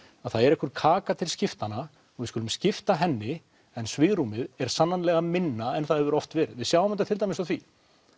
það er einhver kaka til skiptanna og við skulum skipta henni en svigrúmið er sannarlega minna en það hefur oft verið við sjáum þetta til dæmis á því